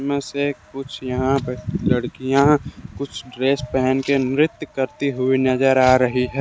में से एक कुछ यहां ब लड़कियां कुछ ड्रेस पहन के नृत्य करती हुई नजर आ रही है।